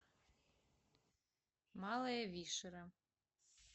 малая вишера